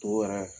To yɛrɛ